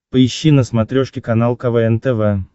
поищи на смотрешке канал квн тв